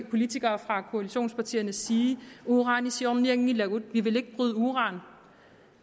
politikere fra koalitionspartierne sige uranisiornianngilagut vi vil ikke bryde uran